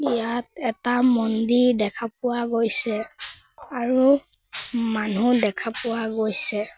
ইয়াত এটা মন্দিৰ দেখা পোৱা গৈছে আৰু মানুহ দেখা পোৱা গৈছে।